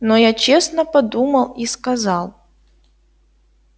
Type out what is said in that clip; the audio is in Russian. но я честно подумал и сказал